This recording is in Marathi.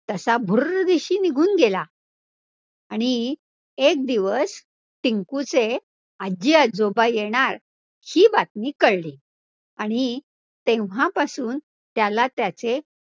तसा भूर्रदिशी निघून गेला आणि एक दिवस टिंकुचे आजी आजोबा येणार ही बातमी कळली आणि तेव्हापासून त्याला त्याचे